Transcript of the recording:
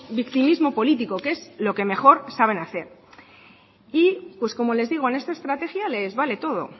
victimismo político que es lo que mejor saben hacer como les digo en esta estrategia les vale todo